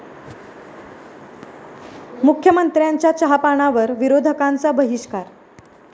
मुख्यमंत्र्यांच्या चहापानावर विरोधकांचा बहिष्कार